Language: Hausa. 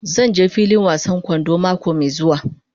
Zan je filin wasan kwando mako mai zuwa.